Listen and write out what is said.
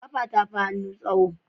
Kafa tafi hannu tsaho